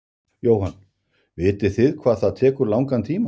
Jóhann: Vitið þið hvað það tekur langan tíma?